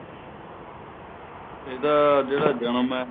ਇਹਦਾ ਜਿਹੜਾ ਜਨਮ ਏ